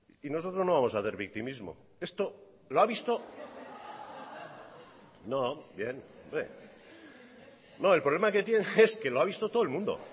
nosotros no vamos hacer victimismo el problema que tiene es que lo ha visto todo el mundo